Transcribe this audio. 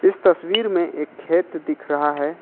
इस तस्वीर में एक खेत दिख रहा है।